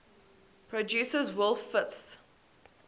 produces wolf fifths